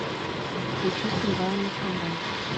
включи скрываемый скандал